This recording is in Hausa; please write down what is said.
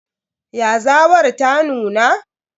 Yazawar ta nuna?